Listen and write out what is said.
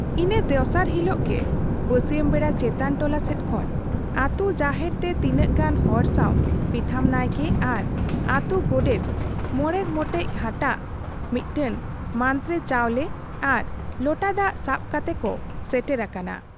ᱤᱱᱟᱹ ᱫᱚᱥᱟᱨ ᱦᱤᱞᱳᱜ ᱜᱮ ᱵᱟᱹᱥᱭᱟᱹᱢ ᱵᱮᱲᱟ ᱪᱮᱛᱟᱱ ᱴᱚᱞᱟ ᱥᱮᱫ ᱠᱷᱚᱱ ᱟᱹᱛᱩ ᱡᱟᱦᱮᱨ ᱛᱮ ᱛᱤᱱᱟᱹᱜ ᱜᱟᱱ ᱦᱚᱲ ᱥᱟᱶ ᱯᱤᱛᱷᱟᱹᱢ ᱱᱟᱭᱠᱮ ᱟᱨ ᱟᱹᱛᱩ ᱜᱳᱰᱮᱛ ᱢᱚᱬᱮ ᱜᱚᱴᱮᱡ ᱦᱟᱴᱟᱜ, ᱢᱤᱫᱴᱟᱹᱝ ᱢᱟᱱᱨᱮ ᱪᱟᱣᱞᱮ ᱟᱨ ᱞᱚᱴᱟ ᱫᱟᱜ ᱥᱟᱵ ᱠᱟᱛᱮ ᱠᱚ ᱥᱮᱴᱮᱨ ᱟᱠᱟᱱᱟ ᱾